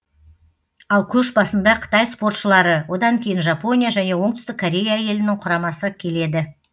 ал көш басында қытай спортшылары одан кейін жапония және оңтүстік корея елінің құрамасы келеді